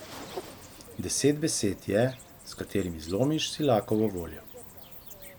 Deset besed je, s katerimi zlomiš silakovo voljo.